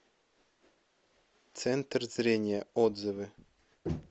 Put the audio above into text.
центр зрения отзывы